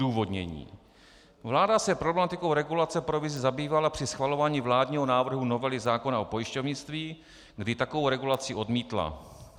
Odůvodnění: Vláda se problematikou regulace provizí zabývala při schvalování vládního návrhu novely zákona o pojišťovnictví, kdy takovou regulaci odmítla.